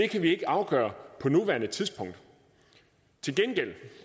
kan vi ikke afgøre på nuværende tidspunkt til gengæld